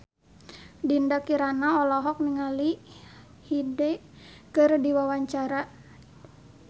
Dinda Kirana olohok ningali Hyde keur diwawancara